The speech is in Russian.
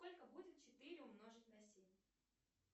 сколько будет четыре умножить на семь